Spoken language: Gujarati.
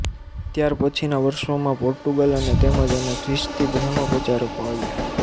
ત્યારપછીના વર્ષોમાં પોર્ટુગલ અને તેમજ અને ખ્રિસ્તી ધર્મપ્રચારકો આવ્યાં